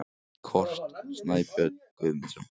Kort: Snæbjörn Guðmundsson.